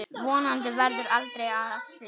Vonandi verður aldrei af því.